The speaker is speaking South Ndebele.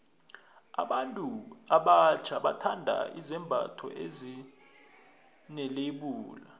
abantu abatjha bathanda izembatho ezine lebula